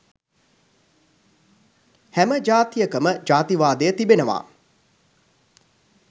හැම ජාතියකම ජාතිවාදය තිබෙනවා